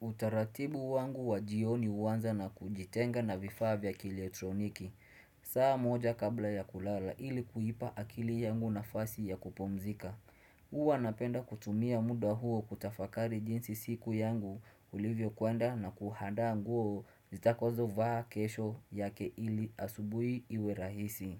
Utaratibu wangu wa jioni uanza na kujitenga na vifaa vya kiletroniki saa moja kabla ya kulala ili kuipa akili yangu nafasi ya kupumzika huwa napenda kutumia muda huo kutafakari jinsi siku yangu ulivyo kwenda na kuhandaa nguo zitakozo vaa kesho yake ili asubui iwerahisi